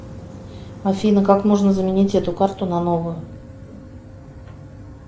афина как можно заменить эту карту на новую